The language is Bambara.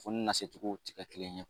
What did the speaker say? Fo nasecogo ti kɛ kelen ye